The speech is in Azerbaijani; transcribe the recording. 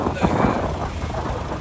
10 dəqiqə.